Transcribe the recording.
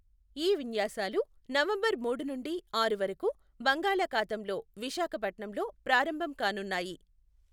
ఈ విన్యాసాలు నవంబర్ మూడు నుండి ఆరు వరకు బంగాళఖాతంలో విశాఖపట్నంలో ప్రారంభం కానున్నాయి.